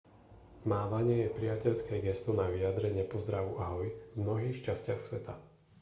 mávanie je priateľské gesto na vyjadrenie pozdravu ahoj v mnohých častiach sveta